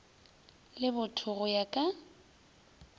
le botho go ya ka